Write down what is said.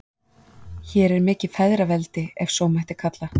Hér er mikið feðraveldi, ef svo mætti kalla.